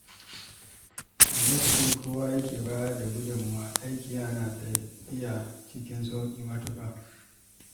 A yayin da kowa ke bayar da gudunmawa, aiki yana tafiya cikin sauƙi matuƙa.